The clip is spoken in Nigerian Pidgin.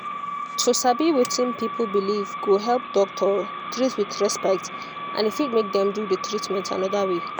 to sabi wetin person believe go help doctor treat with respect and e fit make dem do the treatment another way